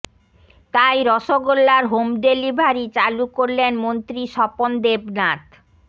তাই রসগোল্লার home delivery চালু করলেন মন্ত্রী স্বপন দেবনাথ